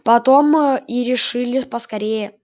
потом и решили поскорее